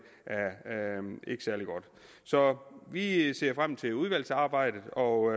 særlig godt så vi ser frem til udvalgsarbejdet og